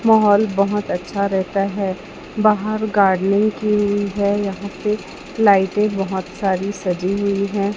माहौल बहुत अच्छा रहता है बाहर गार्डेनिंग की हुई है यहां पे लाइटें बहुत सारी सजी हुई हैं।